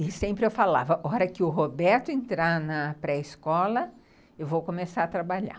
E sempre eu falava, a hora que o Roberto entrar na pré-escola, eu vou começar a trabalhar.